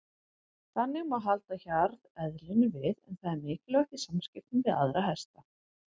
Þannig má halda hjarðeðlinu við en það er mikilvægt í samskiptum við aðra hesta.